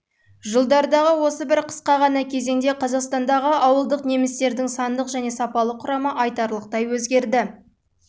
жылдардағы осы бір қысқа ғана кезеңде қазақстандағы ауылдық немістердің сандық және сапалық құрамы айтарлықтай өзгерді